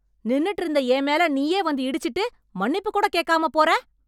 நின்னுட்டு இருந்த என் மேல நீயே வந்து இடிச்சிட்டு மன்னிப்பு கூட கேக்காம போற